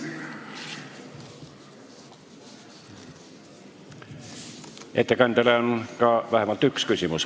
Ettekandjale on vähemalt üks küsimus.